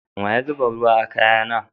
Wa ya zuba ruwa a kaya na?